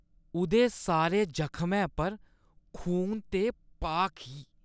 उʼदे सारे जखमै पर खून ते पाक ही।